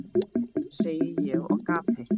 segi ég og gapi.